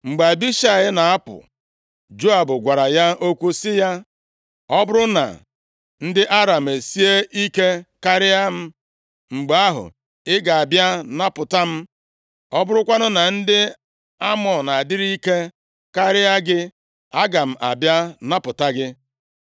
Mgbe Abishai na-apụ, Joab gwara ya okwu sị ya, “Ọ bụrụ na ndị Aram esie ike karịa m, mgbe ahụ, ị ga-abịa napụta m. Ọ bụrụkwanụ na ndị Amọn adịrị ike karịa gị, aga m abịa napụta gị.